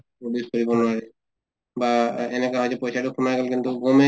produce কৰিব নোৱাৰে, বা এনেকে হয় যে পইছা তো সোমাল কিন্তু গমে